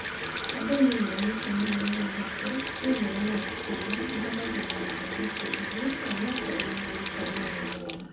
Andũ milioni ikũmi na ithathatũ thĩinĩ wa Nigeria mahũthagĩra nenda ya Facebook o na koruo no rita rĩmwe mweri.